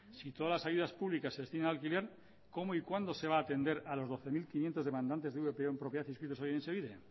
si todas las ayudas públicas se destinan al alquiler cómo y cuándo se va a atender a los doce mil quinientos demandantes de vpo en propiedad inscritos en etxebide